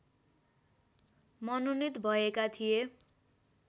मनोनीत भएका थिए